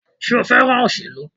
Sé o fẹ́ràn òṣèlú?